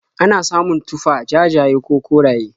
Ana samun tufah jajaye ko koraye.